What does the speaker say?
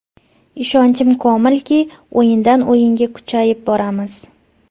Ishonchim komilki, o‘yindan-o‘yinga kuchayib boramiz”.